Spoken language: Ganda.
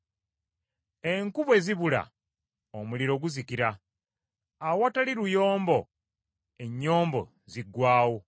Enku bwe zibula omuliro guzikira, awatali lugambo ennyombo ziggwaawo.